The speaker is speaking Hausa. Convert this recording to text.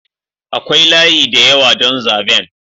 Akwai layi da yawa don zaben.